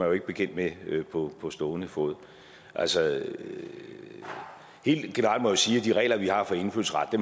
jo ikke bekendt med på stående fod altså helt generelt må jeg sige at de regler vi har for indfødsret